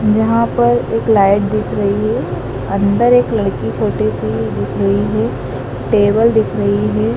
यहाँ पर एक लाइट दिख रही है। अंदर एक लड़की छोटी सी दिख रही है टेबल दिख रही है।